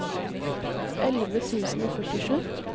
elleve tusen og førtisju